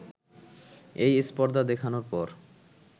এই স্পর্ধা দেখানোর পর